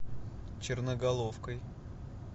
черноголовкой